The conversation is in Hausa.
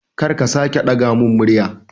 Kar ka sake ɗaga mun murya